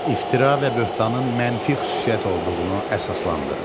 İftira və böhtanın mənfi xüsusiyyət olduğunu əsaslandırın.